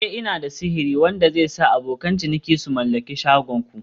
Eh" Ina da sihiri wanda zai sa abokan ciniki su mallaki shagon ku